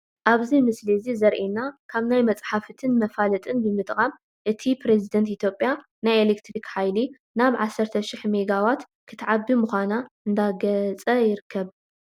ኣብዚ ምስሊ እዚ ዘሪኤና ካብ ናይ መፅሓፍትን መፋለጥትን ብምጥቃም እቲ ኘሬዚደንት ኢትዮጵያ ናይ ኤሌክትሪክ ሓይሊ ናብ 13 ሽሕ ሜጋ ዋት ክተዕቢ ምዃና እንዳገፀ ይርከብ ፡፡